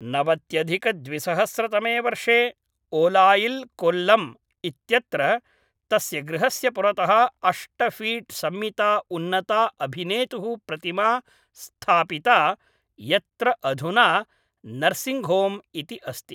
नवत्यधिकद्विसहस्रतमे वर्षे ओलायिल् कोल्लम् इत्यत्र तस्य गृहस्य पुरतः अष्ट फीट् सम्मिता उन्नता अभिनेतुः प्रतिमा स्थापिता यत्र अधुना नर्सिङ्ग् होम् इति अस्ति